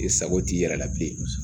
I sago t'i yɛrɛ la bilen